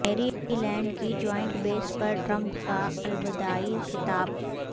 میری لینڈ کی joint base پر ٹرمپ کا الوداعی خطاب